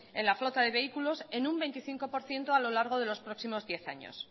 en la flota de vehículos en un veinticinco por ciento a lo largo de los próximos diez años